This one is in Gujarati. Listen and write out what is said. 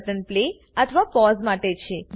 પ્રથમ બટન પ્લે અથવા પોઝ માટે છે